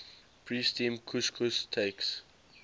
pre steamed couscous takes